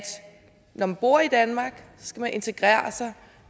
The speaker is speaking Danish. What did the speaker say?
når man bor i danmark skal man integrere sig